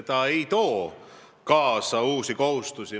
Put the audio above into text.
See ei too kaasa uusi kohustusi.